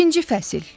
İkinci fəsil.